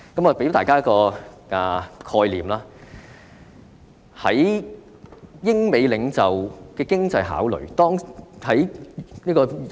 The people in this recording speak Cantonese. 我想談談英美領袖的經濟考慮。